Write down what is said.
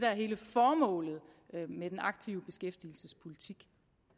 er hele formålet med den aktive beskæftigelsespolitik